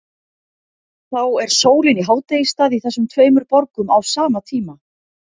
Þá er sólin í hádegisstað í þessum tveimur borgum á sama tíma.